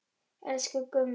Elsku Gummi.